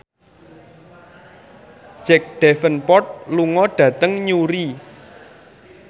Jack Davenport lunga dhateng Newry